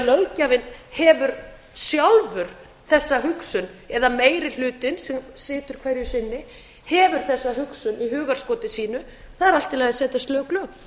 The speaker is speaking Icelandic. óásttanelgt þegarlöggjafinn hefur sjálfur þessa hugsun eða meiri hlutinn sem situr hverju sinni hefur þessa hugsun í hugarskoti sínu það er allt í allir að setja lög lög